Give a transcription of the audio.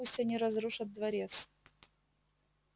пусть они разрушат дворец